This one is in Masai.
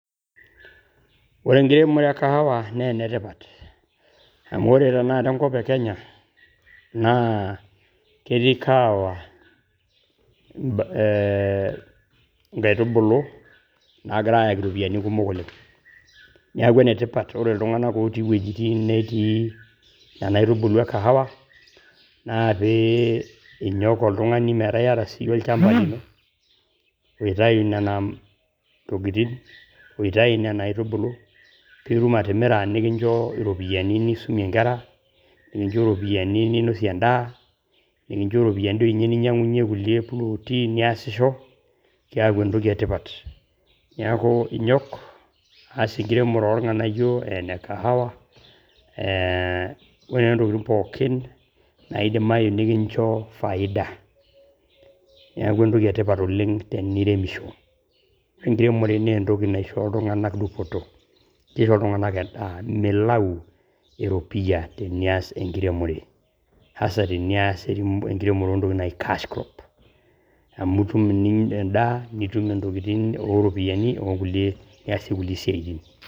Ore enkiremore e kahawa naa enetipat, amu ore tenakata enkop e Kenya naa ketii kahawa eeeh nkaitubulu naagira aayaki irropiyini kumok oleng. Niaku ene tipat, ore iltung`anak otii wuejitin netii nena aitubulu e kahawa naa pee inyok oltung`ani metaa iyata siiyie olchamba lino , oitayu nena tokitin, oitayu nena aitubulu. Pii itum atimira nikincho iropiyiani nisumie nkera, nikincho iropiyiani ninosie en`daa . Nikincho ropiyiani doi ninyang`unyie nkulie plot i niyasisho kiaku entoki e tipat. Niaku inyok aas enkiremore oo ilng`anayio, ene kahawa eeh ore tenakata ntokitin pookin naadimayu nikincho kahawa. Niaku ene tipat oleng teniremisho, ore enkiremore naa entoki naishoo iltung`anak dupoto. Eishoo iltung`anak en`daa, milau eropiyia tenias enkiremore haswa tenias enkiremore oo ntokitin naaji cash crops amu itum endaa nitum ntokitin oo ropiyiani nkulie tokitin niasie nkulie tokitin.